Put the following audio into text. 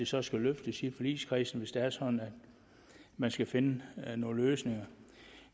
så skal løftes i forligskredsen hvis det er sådan at man skal finde nogle løsninger